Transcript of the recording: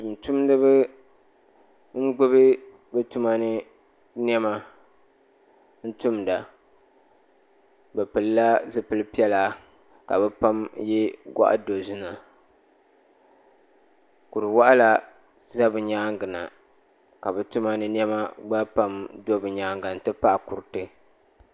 Tuun tumdiba n gbubi bi tuma ni nɛma n tumida bi pili la zupiligu piɛlla ka bi pa yiɛ gɔɣi dozima kuri wɔɣila za bi yɛanga na ka bi tuma ni nɛma gba pam do bi nyɛanga n ti pahi kuriti.